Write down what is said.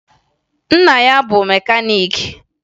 Nna ya bụ mekaniiki